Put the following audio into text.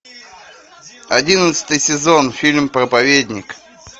одиннадцатый сезон фильм проповедник